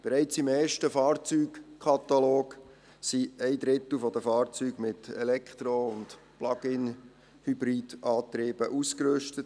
Bereits im ersten Fahrzeugkatalog sind ein Drittel der Fahrzeuge mit Elektro- und Plug-in-Hybridantrieben ausgerüstet.